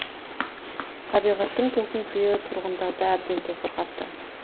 табиғаттың тосын сыйы тұрғындарды әбден тосырқатты